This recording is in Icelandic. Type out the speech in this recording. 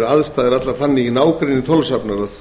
að aðstæður eru allar þannig í nágrenni þorlákshafnar að